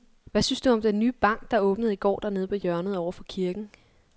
Hvad synes du om den nye bank, der åbnede i går dernede på hjørnet over for kirken?